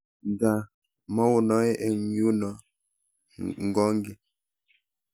Nta maounoe eng yuno ngwonge.